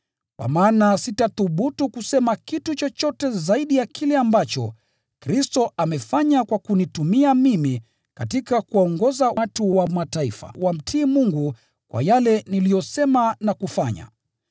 Kwa maana sitathubutu kusema kitu chochote zaidi ya kile ambacho Kristo amefanya kwa kunitumia mimi katika kuwaongoza watu wa Mataifa wamtii Mungu kwa yale niliyosema na kufanya,